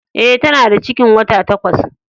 E, ta na da cikin wata takwas.